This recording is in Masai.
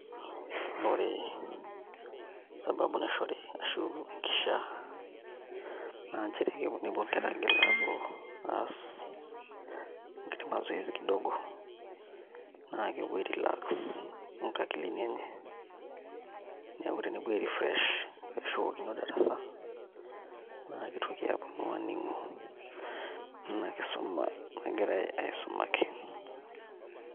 Ore sababu naishori ashu enkishia naa nchere kepuo nepuo inkera aigil aapuo aas enkiti mazoezi kidogo naa kepuo ae relax inkakilini enye niaku tenepuo ae refresh neshukokino darasa naa kitoki aponu aning'u ina kisuma nagirae aisumaki.